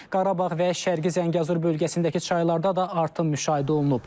Qarabağ və Şərqi Zəngəzur bölgəsindəki çaylarda da artım müşahidə olunub.